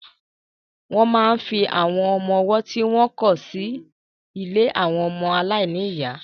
Wọ́n máa ń fi àwọn ọmọwọ́ tí wọ́n kọ̀ sí ilé àwọn ọmọ aláìní ìyá.